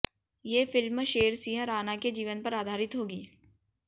ये फिल्म शेर सिंह राणा के जीवन पर आधारित होगी